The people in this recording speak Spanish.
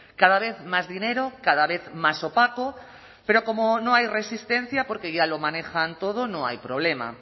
cada vez más dinero cada vez más opaco pero como no hay resistencia porque ya lo manejan todo no hay problema